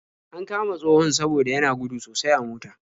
An kama tsohon saboda yana gudu sosai a mota.